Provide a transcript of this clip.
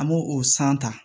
An b'o o san ta